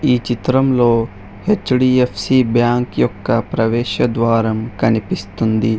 ఈ చిత్రంలో HDFC bank యొక్క ప్రవేశద్వారం కనిపిస్తుంది.